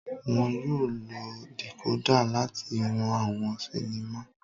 Wọn yóò lo decoder láti wo awọn sinima